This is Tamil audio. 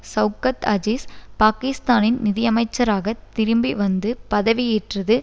சவுக்கத் அஜீஸ் பாக்கிஸ்தானின் நிதியமைச்சராக திரும்பி வந்து பதவியேற்றது